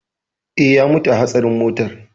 Eh, ya mutu a hatsarin motar.